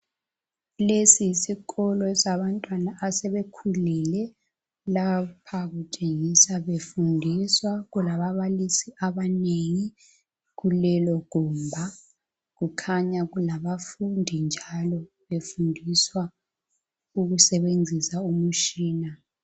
Lesi yisikolo sabantwana asebekhulile. Lapha kutshengisa befundiswa kulababalisi abanengi kulelogumba. Kukhanya kulabafundi njalo befundiswa ukusebenzisa umshina.